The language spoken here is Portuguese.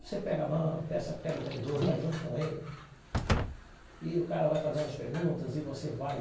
Você pega a mão peça pega o vendedor, vai junto com ele e o cara vai fazendo as perguntas e você vai